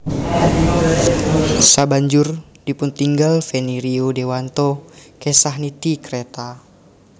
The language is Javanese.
Sabanjure dipuntinggal Feni Rio Dewanto kesah nitih kreta